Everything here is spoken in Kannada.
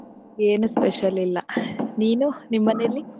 ಏನೂ special ಇಲ್ಲ . ನೀನು? ನಿಮ್ಮನೇಲಿ?